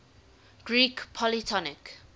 greek polytonic